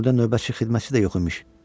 Burda növbəçi xidmətçi də yox imiş.